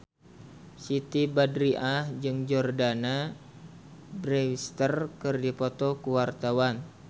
Siti Badriah jeung Jordana Brewster keur dipoto ku wartawan